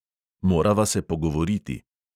Morava se pogovoriti.